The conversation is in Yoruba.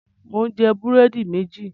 Mò ń jẹ búrẹ́dì méjì.